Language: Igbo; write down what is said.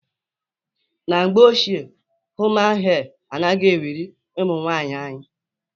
Na mgbe ochie human hee anaghị ewuru ụmụnwanyị anyị.